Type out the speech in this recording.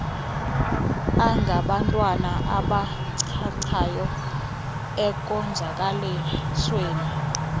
angabantwana abachachayo ekonzakalisweni